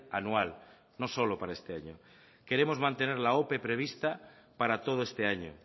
anual no solo para este año queremos mantener la ope prevista para todo este año